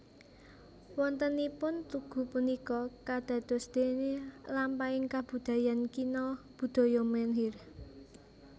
Wontenipun tugu punika kadosdene lampahing kabudayan kina budaya menhir